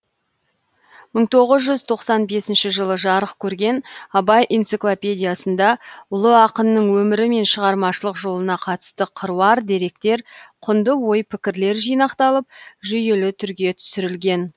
мың тоғыз жүз тоқсан бесінші жылы жарық көрген абай энциклопедиясында ұлы ақынның өмірі мен шығармашылық жолына қатысты қыруар деректер құнды ой пікірлер жинақталып жүйелі түрге түсірілген